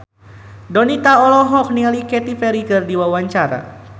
Donita olohok ningali Katy Perry keur diwawancara